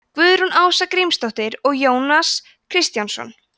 guðrún ása grímsdóttir og jónas kristjánsson